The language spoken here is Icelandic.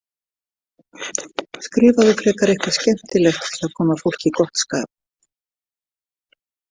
Skrifaðu frekar eitthvað skemmtilegt til að koma fólki í gott skap.